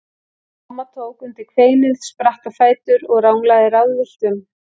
Mamman tók undir kveinið, spratt á fætur og ranglaði ráðvillt um.